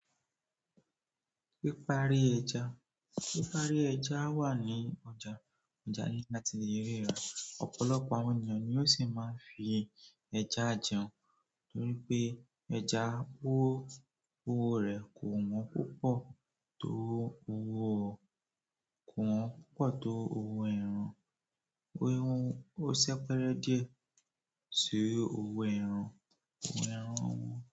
Pípári ẹja, pípári ẹja wà ní ọjà, ọjà ní láti lè ríra, ọ̀pọ̀lọpọ̀ àwọn ènìyàn ni ó sì máa ń fi ẹja jẹun torí pé ẹja owó, owó rẹ̀ kò wọ́n púpọ̀ tó owó, kò wọ́n púpọ̀ tó owó ẹran, owó ẹran ó ṣẹ péré díẹ̀ sí owó ẹran, owó ẹran wọ́n.